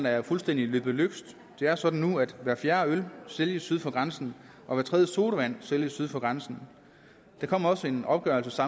er fuldstændig løbet løbsk det er sådan nu at hver fjerde øl sælges syd for grænsen og hver tredje sodavand sælges syd for grænsen der kom også en opgørelse